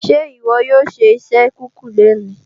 Ṣé ìwọ yóò ṣe iṣẹ kíkùn lóní?